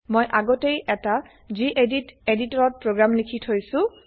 মই আগতেই এটা গেদিত এদিতৰত প্ৰগ্ৰেম লিখি থৈছো